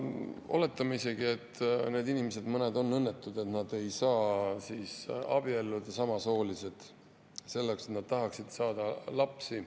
Oletame, et mõned nendest samasoolises inimestest on õnnetud, et nad ei saa abielluda, nad tahaksid saada lapsi.